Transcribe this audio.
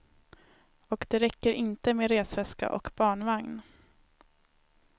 Och det räcker inte med resväska och barnvagn.